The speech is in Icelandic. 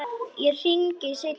Ég hringi seinna.